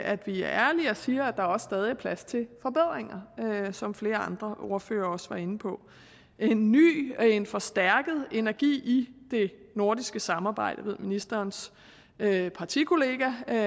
at vi er ærlige og siger at der også stadig er plads til forbedringer som flere andre ordførere også var inde på en ny og en forstærket energi i det nordiske samarbejde jeg ved at ministerens partikollega herre